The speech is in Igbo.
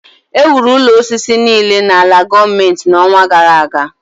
Ewuru ụlọ osisi niile n’ala gọọmentị n’ọnwa gara aga